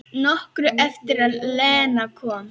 Nokkru eftir að Lena kom.